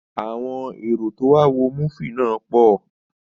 Àwọn èrò tí ó wá wo múfì náà pọ